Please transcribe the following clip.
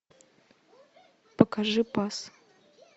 покажи пас